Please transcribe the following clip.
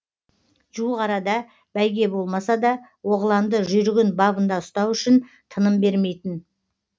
жуықарада бәйге болмаса да оғланды жүйрігін бабында ұстау үшін тыным бермейтін